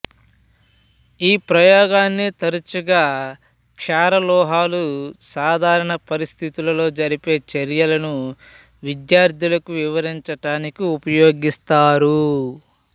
ఈ ప్రయోగాన్ని తరచుగా క్షారలోహాలు సాధారణ పరిస్థితులలో జరిపే చర్యలను విద్యార్థులకు వివరించడానికి ఉపయోగిస్తారు